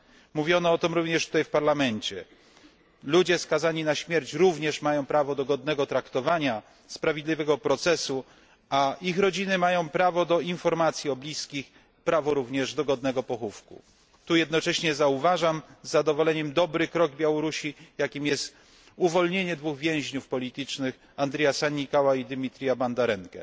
Mówiono o tym również tutaj w Parlamencie ludzie skazani na śmierć również mają prawo do godnego traktowania, sprawiedliwego procesu, a ich rodziny mają prawo do informacji o bliskich i prawo do godnego pochówku. W tym kontekście jednocześnie zauważam z zadowoleniem pozytywny krok Białorusi, jakim jest uwolnienie dwóch więźniów politycznych Andreja Sannikaua i Źmiciera Bandarenki.